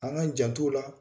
An ga jant'u la.